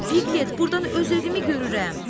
Pilet, burdan öz evimi görürəm.